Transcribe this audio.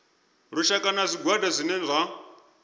lushaka na zwigwada zwine zwa